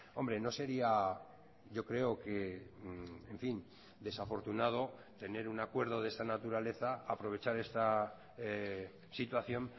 hombre no sería yo creo que en fin desafortunado tener un acuerdo de esta naturaleza aprovechar esta situación